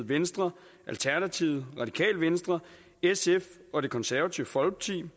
venstre alternativet radikale venstre sf og det konservative folkeparti